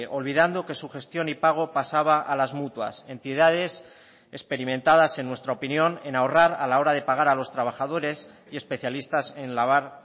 olvidando que su gestión y pago pasaba a las mutuas entidades experimentadas en nuestra opinión en ahorrar a la hora de pagar a los trabajadores y especialistas en lavar